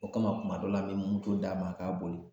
O kama kuma dɔ la an mi moto d'a ma a k'a boli